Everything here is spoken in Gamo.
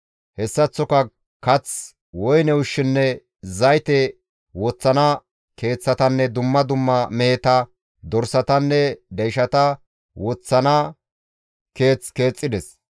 Hessaththoka kath, woyne ushshinne zayte woththana keeththatanne dumma dumma meheta, dorsatanne deyshata woththana keeth keexxides.